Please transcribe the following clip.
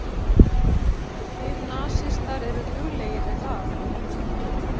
Og þið nasistar eruð duglegir við það